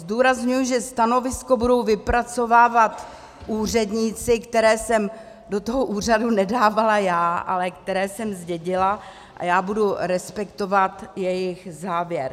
Zdůrazňuji, že stanovisko budou vypracovávat úředníci, které jsem do toho úřadu nedávala já, ale které jsem zdědila, a já budu respektovat jejich závěr.